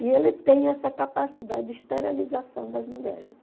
E ele tem essa capacidade de esterilização das mulheres.